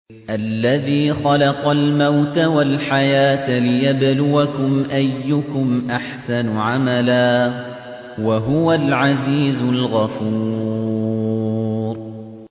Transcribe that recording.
الَّذِي خَلَقَ الْمَوْتَ وَالْحَيَاةَ لِيَبْلُوَكُمْ أَيُّكُمْ أَحْسَنُ عَمَلًا ۚ وَهُوَ الْعَزِيزُ الْغَفُورُ